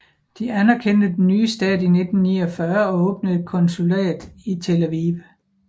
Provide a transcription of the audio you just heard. De anerkendte den nye stat i 1949 og åbnede et konsulat i Tel Aviv